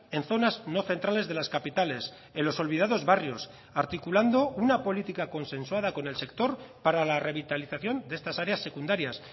en zonas no centrales de las capitales en los olvidados barrios articulando una política consensuada con el sector para la revitalización de estas áreas secundarias